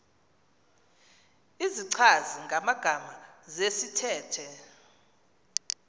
izichazi magama zesithethe